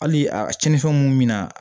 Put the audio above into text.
Hali a cɛnnifɛnw mun bɛ na